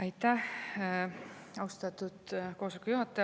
Aitäh, austatud juhataja!